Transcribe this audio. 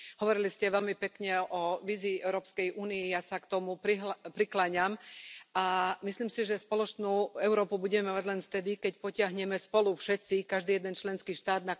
Hovorili ste veľmi pekne o vízii Európskej únie. Ja sa k tomu prikláňam a myslím si, že spoločnú Európu budeme mať len vtedy, keď potiahneme spolu všetci, každý jeden členský štát.